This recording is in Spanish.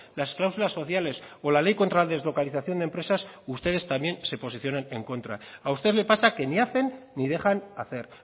las cláusulas sociales o la ley contra la deslocalización de empresas ustedes también se posicionan en contra a usted le pasa que ni hacen ni dejan hacer